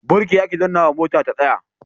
Birki ake dannnawa mota ta tsaya.